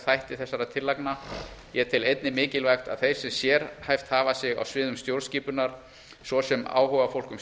þætti þessara tillagna ég tel einnig mikilvægt að þeir sem sérhæft hafa sig á sviðum stjórnskipunar svo sem áhugafólk um